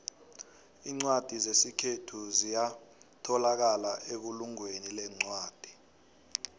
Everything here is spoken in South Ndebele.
incwadi zesikhethu ziyatholakala ebulungweni lencwadi